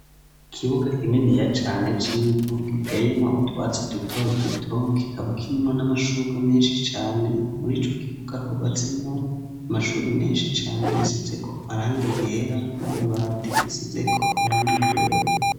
Ikibuga kineni ya cane cibu giteyemwo utwatsi duto duto kikaba kinimwo n'amashura menshi cane muri co kibuga hubatsemwo amashure menshi cane yasetse ko aranga iyera n'amabati asizeko iranga igera.